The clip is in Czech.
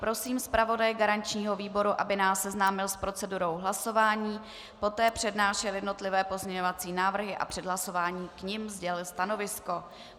Prosím zpravodaje garančního výboru, aby nás seznámil s procedurou hlasování, poté přednášel jednotlivé pozměňovací návrhy a před hlasováním k nim sdělil stanovisko.